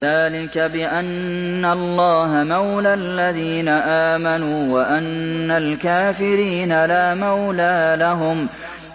ذَٰلِكَ بِأَنَّ اللَّهَ مَوْلَى الَّذِينَ آمَنُوا وَأَنَّ الْكَافِرِينَ لَا مَوْلَىٰ لَهُمْ